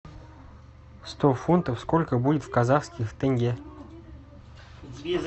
сто фунтов сколько будет в казахских тенге